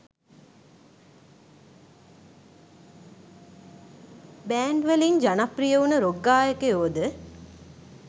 Band වලින් ජනප්‍රිය උන රොක් ගායකයොද?